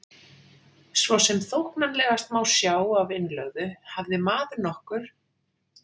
Svo sem þóknanlegast má sjá af innlögðu, hafði maður nokkur